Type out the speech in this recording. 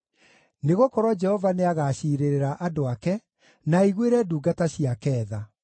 Nĩgũkorwo Jehova nĩagaciirĩrĩra andũ ake, na aiguĩre ndungata ciake tha.